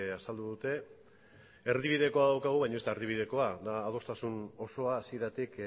azaldu dute erdibidekoa daukagu baina ez da erdibidekoa da adostasun osoa hasieratik